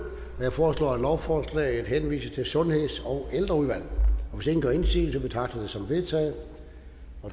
jeg foreslår at lovforslaget henvises til sundheds og ældreudvalget hvis ingen gør indsigelse betragter jeg det som vedtaget